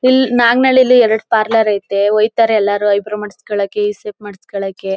ಇಲ್ ನಾಗನಹಳ್ಳಿಯಲ್ಲಿ ಎರಡು ಪಾರ್ಲರ್ ಐತೆ. ಹೋಯಿತಾರೆ ಎಲ್ರು ಏಯೆಬ್ರೌ ಮಾಡ್ಸ್ಕೊಳಕ್ಕೆ. ಈ ಶೇಪ್ ಮಾಡ್ಸ್ಕೊಳಕ್ಕೆ.